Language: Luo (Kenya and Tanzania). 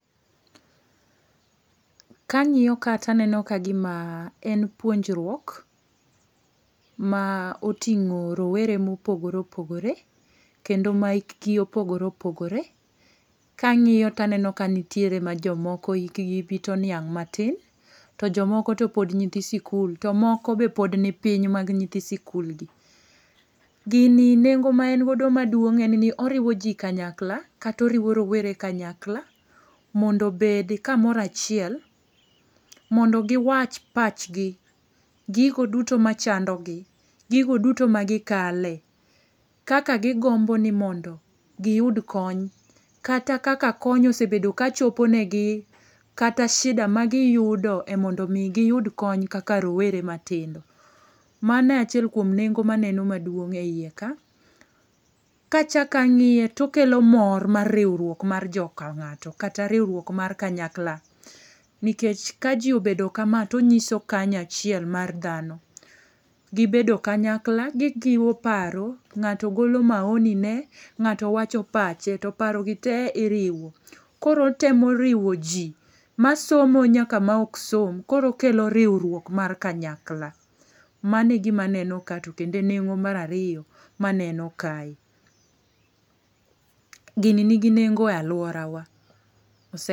Kangi'yo ka to aneno kagimaa en puonjruok, maa otingo' rowere mo opogore opogore, kendo ma hikgi opogore opogore, kangi'yo to aneno ka nitiere ma jo moko hikgi bit oniang' matin, to jo moko to pod nyithi sikul to moko be pod ni piny mag nyi thi sikul gi, gini nengo' ma en godo maduong' en ni oriwo ji kanyakla, kata oriwo rowere kanyakla, mondo obed kamoro achiel, mondo giwach pachgi, gigo duto machandogi , gigo duto magikale, kaka gigombo ni mondo giyud kony, kata kaka kony osebedo kachoponegi, kata shida kata shida ma giyudo e mondo mi giyud kony kaka rowere matindo, mano achiel kuom nengo maneno maduong ' e hiye ka kachako angi'ye to okelo mor mor mar riwruok mar joka nga'to kata riwruok mar kanyakla nikech ka ji obedo kama to onyiso kanyachiel mar thano , gibedo kanyakla gijiwo paro, ngato golo maonine nga'to wacho pache to parogite iriwo, koro otemo riwo ji masomo nyaka ma ok som koro okelo riwruok mar kanyakla, mano e gima neno ka to kendo nengo' marariyo maneno kae, gini nigi nengo e aluorawa